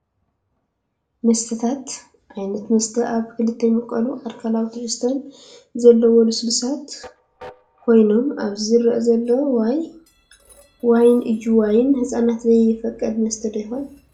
መስተታት፡-ዓይነታት መስተ ኣብ ክልተ ይምቀሉ፣ ኣልኮላዊ ትሕዝቶ ዘለዎምን ልስሉሳትን ኮይኖም ኣብዚ ዝረአ ዘሎ ዋይን እዩ፡፡ ዋይን ንህፃናት ዘይፍቀድ መስተ ዶ ይኸውን?